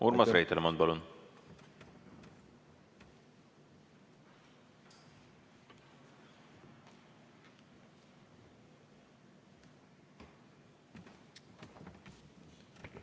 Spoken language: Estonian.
Urmas Reitelmann, palun!